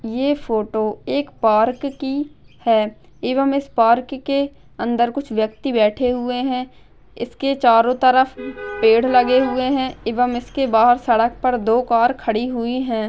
ये फोटो एक पार्क की है एवंम इस पार्क के अंदर कुछ व्यक्ति बैठे हुए है इसके चरो तरफ पेड़ लगे हुए है इवम इसके बहर सड़क पर दो कार खड़ी हुई है।